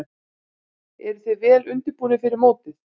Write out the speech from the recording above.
Eruð þið vel undirbúnir fyrir mótið?